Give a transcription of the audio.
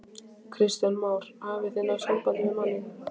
Kristján Már: Hafið þið náð sambandi við manninn?